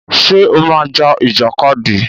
Ṣé o máa ń ja ìjàkadì?